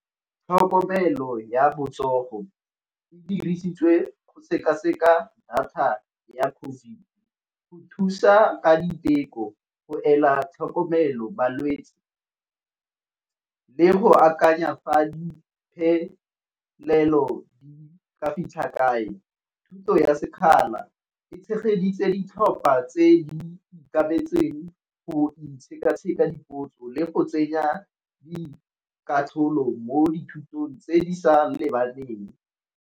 Tlhokomelo ya botsogo e dirisitswe go sekaseka data ya COVID, go thusa ka diteko, go ela tlhokomelo balwetsi, le go akanya fa di phelelo di ka fitlha kae. Thuto ya sekgala e tshegeditse di tlhopha tse di go itshekatsheka dipotso le go tsenya di katlholo mo dithutong tse di sa lebaneng.